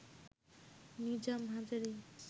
Nizam Hazari